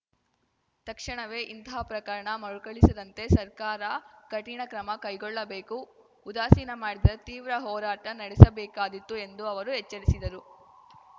ತಕ್ಷಣವೇ ಇಂತಹ ಪ್ರಕರಣ ಮರುಕಳಿಸದಂತೆ ಸರ್ಕಾರ ಕಠಿಣ ಕ್ರಮ ಕೈಗೊಳ್ಳಬೇಕು ಉದಾಸೀನ ಮಾಡಿದರೆ ತೀವ್ರ ಹೋರಾಟ ನಡೆಸಬೇಕಾದೀತು ಎಂದು ಅವರು ಎಚ್ಚರಿಸಿದರು